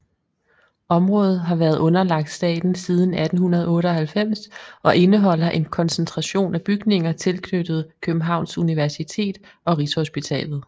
Området har været underlagt staten siden 1898 og indeholder en koncentration af bygninger tilknyttet Københavns Universitet og Rigshospitalet